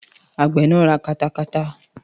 Àgbẹ̀ náà ra katakata